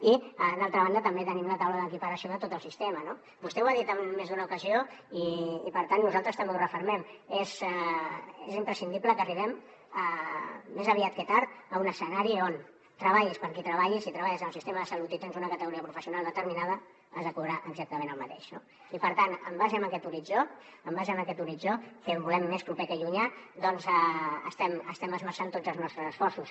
i d’altra banda també tenim la taula d’equiparació de tot el sistema no vostè ho ha dit en més d’una ocasió i per tant nosaltres també ho refermem és imprescindible que arribem més aviat que tard a un escenari on treballis per a qui treballis si treballen en el sistema de salut i tens una categoria professional determinada has de cobrar exactament el mateix no i per tant en base a aquest horitzó que el volem més proper que llunyà doncs estem esmerçant tots els nostres esforços